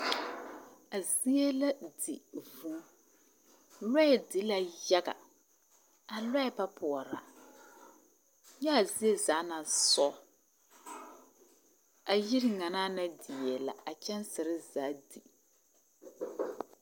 A zie la di vũũ. Lͻԑ di la yaga. A lͻԑ ba poͻrͻ. Nyaa zie zaa naŋ sͻͻ. A yiri ŋa naa na die la. A kyԑnsere zaa di.